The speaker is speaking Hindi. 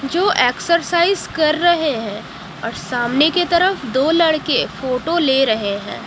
जो एक्सरसाइज कर रहे हैं और सामने के तरफ दो लड़के फोटो ले रहे हैं।